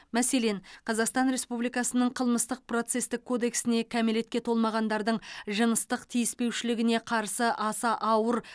мәселен қазақстан республикасының қылмыстық процестік кодексіне кәмелетке толмағандардың жыныстық тиіспеушілігіне қарсы аса ауыр